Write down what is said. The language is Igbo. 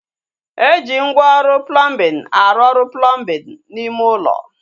Eji ngwa ọrụ plọmbin arụ ọrụ plọmbin n'ime ulo